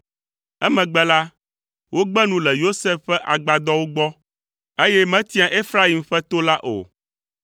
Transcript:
Emegbe la, wògbe nu le Yosef ƒe agbadɔwo gbɔ, eye metia Efraim ƒe to la o.